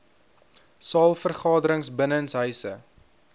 saal vergaderings binnenshuise